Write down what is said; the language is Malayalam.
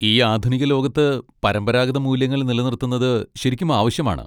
ഈ ആധുനിക ലോകത്ത് പരമ്പരാഗത മൂല്യങ്ങൾ നിലനിർത്തുന്നത് ശരിക്കും ആവശ്യമാണ്.